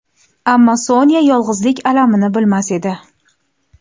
Ammo Sonya yolg‘izlik alamini bilmas edi.